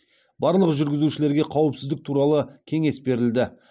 барлық жүргізушілерге қауіпсіздік туралы кеңес берілді